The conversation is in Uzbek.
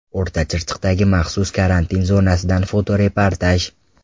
O‘rta Chirchiqdagi maxsus karantin zonasidan fotoreportaj.